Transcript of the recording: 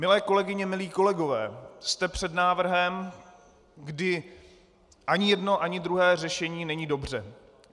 Milé kolegyně, milí kolegové, jste před návrhem, kdy ani jedno ani druhé řešení není dobře.